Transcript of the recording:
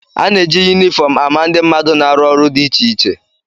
A na-eji yunifọm ama ndị mmadụ na-arụ ọrụ dị iche iche